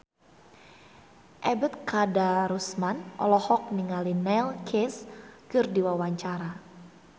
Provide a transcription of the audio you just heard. Ebet Kadarusman olohok ningali Neil Casey keur diwawancara